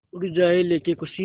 उड़ जाएं लेके ख़ुशी